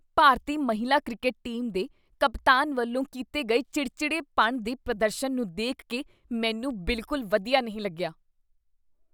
ਭਾਰਤੀ ਮਹਿਲਾ cricket team ਦੇ ਕਪਤਾਨ ਵੱਲੋਂ ਕੀਤੇ ਗਏ ਚਿੜਚਿੜੇਪਣ ਦੇ ਪ੍ਰਦਰਸ਼ਨ ਨੂੰ ਦੇਖ ਕੇ ਮੈਨੂੰ ਬਿਲਕੁਲ ਵਧੀਆ ਨਹੀਂ ਲੱਗਿਆ।